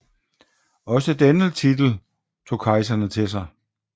Også denne titel tog kejserne til sig